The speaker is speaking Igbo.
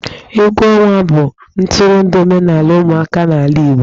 Egwu ọnwa bụ ntụrụndụ omenala ụmụaka n'ala igbo.